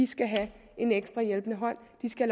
skal have en ekstra hjælpende hånd de skal